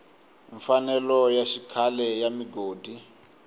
mfanelo ya xikhale ya migodi